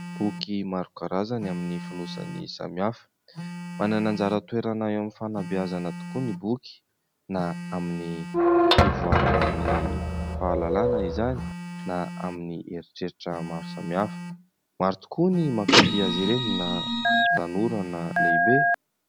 Boky maro karazany amin'ny fonosany samihafa. Manana anjara toerana eo amin'ny fanabeazana tokoa ny boky, na amin'ny fivoaran'ny fahalalana izany na amin'ny eritreritra maro samihafa. Maro tokoa no mankany azy ireny na tanora na lehibe.